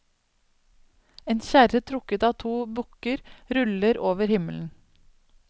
En kjerre trukket av to bukker ruller over himmelen.